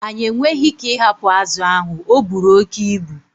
Anyị enweghị ike ịhapụ azụ ahụ, ọ buru oke ibu.